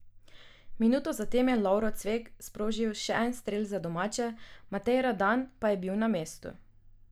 Minuto zatem je Lovro Cvek sprožil še en strel za domače, Matej Radan pa je bil na mestu.